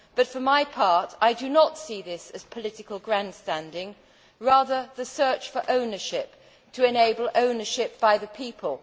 For my part, I do not see this as political grandstanding but rather the search for ownership, to enable ownership by the people.